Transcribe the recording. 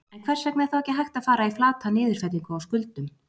En hvers vegna er þá ekki hægt að fara í flata niðurfellingu á skuldum?